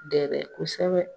Dɛbɛ kosɛbɛ